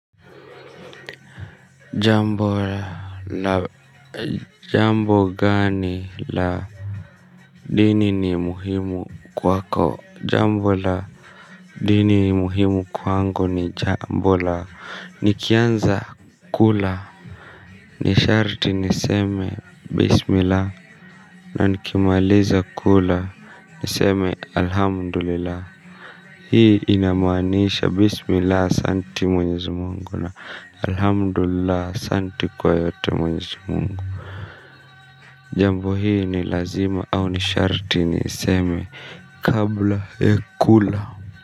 Jambo la jambo gani la dini ni muhimu kwako jambo la dini muhimu kwangu ni jambo la nikianza kula nisharti niseme bismillah na nikimaliza kula niseme alhamdulillah. Hii inamaanisha bismillah asante mwenyezi Mungu na Alhamdullillah asanti kwa yote mwenyezi Mungu jambo hii ni lazima au ni sharati niseme kabla ya kula.